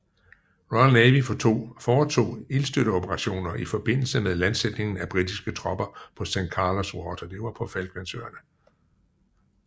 Royal Navy foretog ildstøtteoperationer i forbindelse med landsætningen af britiske tropper på San Carlos Water